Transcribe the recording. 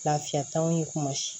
Lafiya t'anw ye kuma